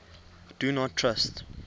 do not trust